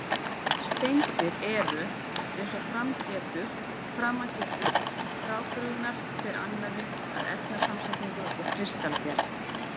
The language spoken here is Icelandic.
Steindir eru, eins og að framan getur, frábrugðnar hver annarri að efnasamsetningu og kristalgerð.